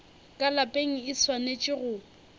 ka lapeng e swanetše go